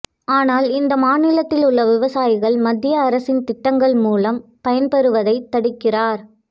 ஆனால் இந்த மாநிலத்தில் உள்ள விவசாயிகள் மத்திய அரசின் திட்டங்கள் மூலம் பயன்பெறுவதை தடுக்கிறாா்